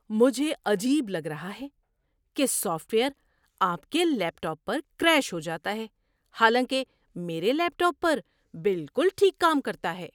مجھے عجیب لگ رہا ہے کہ سافٹ ویئر آپ کے لیپ ٹاپ پر کریش ہو جاتا ہے حالانکہ میرے لیپ ٹاپ پر بالکل ٹھیک کام کرتا ہے۔